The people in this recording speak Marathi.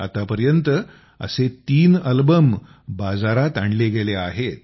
आतापर्यंत असे तीन अल्बम बाजारात आणले गेले आहेत